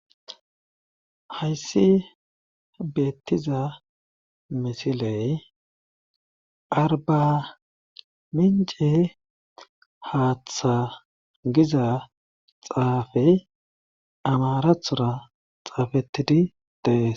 Hayssi beettiza misiley arba mince haaththa giza xaafe amarathora xaafetidi dees.